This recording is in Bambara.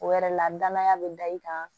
O yɛrɛ la danaya be da i kan